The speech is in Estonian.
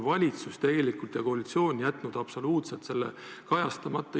Valitsus ja koalitsioon on jätnud selle täiesti kajastamata.